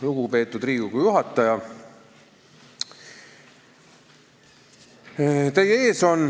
Lugupeetud Riigikogu juhataja!